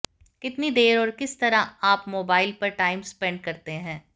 कितनी देर और किस तरह आप मोबाइल पर टाइम स्पेंड करते हैं